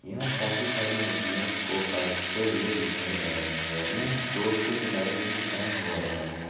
यहाँ काफी सारी मछलियों को काटते हुए दिखाया जा रहा है यहाँ रोड के किनारे ही ये काम हो रहा है।